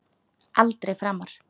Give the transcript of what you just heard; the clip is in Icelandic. Aldrei framar.